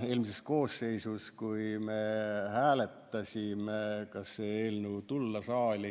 Eelmises koosseisus, kui me hääletasime, kas see eelnõu saata saali,